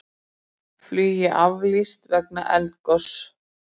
Flugi aflýst vegna eldgoss